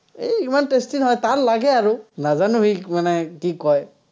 এৰ ইমান tasty নহয়, তাৰ লাগে আৰু, নাজানো সি মানে কি কয়।